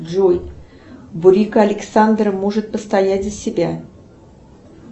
джой бурико александра может постоять за себя